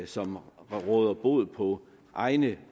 som råder bod på egne